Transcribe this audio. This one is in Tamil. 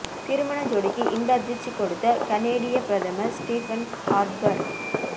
திருமண ஜோடிக்கு இன்ப அதிர்ச்சி கொடுத்த கனேடிய பிரதமர் ஸ்டீபன் ஹார்ப்பர்